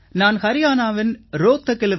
நான் ஹரியாணாவின் ரோஹ்தக்கில்